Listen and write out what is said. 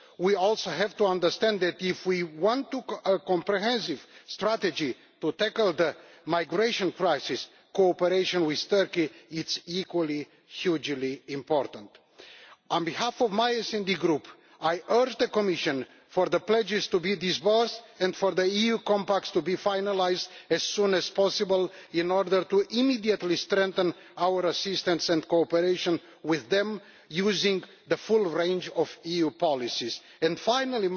We also have to understand that if we want a comprehensive strategy to tackle the migration crisis, cooperation with Turkey is of equally huge importance. On behalf of my SD Group, I urge the Commission for the pledges to be disbursed and for the EU compacts to be finalised as soon as possible in order to immediately strengthen our assistance and cooperation with them using the full range of EU policies. Finally,